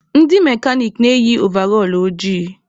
Ndị mekanik na-eyi ovall ojii